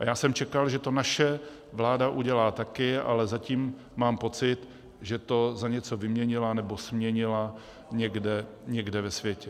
A já jsem čekal, že to naše vláda udělá také, ale zatím mám pocit, že to za něco vyměnila nebo směnila někde ve světě.